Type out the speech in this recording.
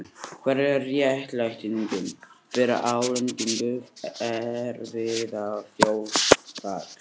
Hver er réttlætingin fyrir álagningu erfðafjárskatts?